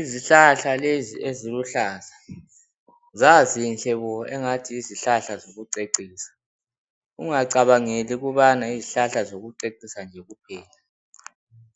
Izihlahla lezi eziluhlaza, zazinhle bo engathi yizihlahla zokucecisa. Ungacabangeli ukubana yizihlahla zokucecisa nje kuphela.